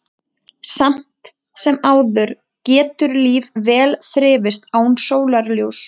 Samt sem áður getur líf vel þrifist án sólarljóss.